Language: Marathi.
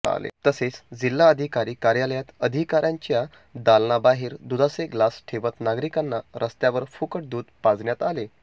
तसेच जिल्हाधिकारी कार्यालयात अधिकाऱ्यांच्या दालनाबाहेर दुधाचे ग्लास ठेवत नागरिकांना रस्त्यावर फुकट दुध पाजण्यात आले